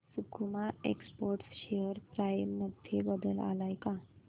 सकुमा exports share price मध्ये बदल आलाय का